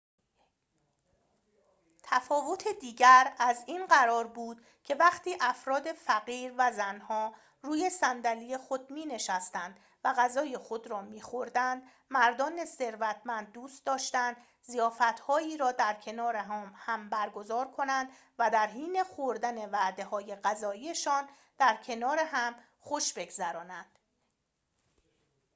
تفاوت دیگر از این قرار بود که وقتی افراد فقیر و زن‌ها روی صندلی خود می‌نشستند و غذای خود را می‌خوردند مردان ثروتمند دوست داشتند ضیافت‌هایی را در کنار هم برگزار کنند و در حین خوردن وعده‌های غذایی‌شان در کنار هم خوش بگذرانند